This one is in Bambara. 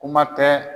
Kuma tɛ